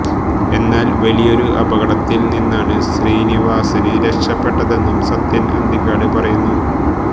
എന്നാല് വലിയൊരു അപകടത്തില് നിന്നാണ് ശ്രീനിവാസന് രക്ഷപ്പെട്ടതെന്നും സത്യന് അന്തിക്കാട് പറയുന്നു